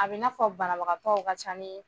A bɛna i n'a fɔ banabagatɔw ka ca ni